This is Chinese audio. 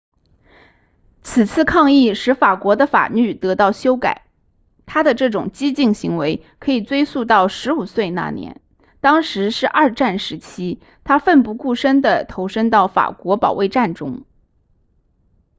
此次抗议使法国的法律得到修改他的这种激进行为可以追溯到15岁那年当时是二战时期他奋不顾身地投身到法国保卫战中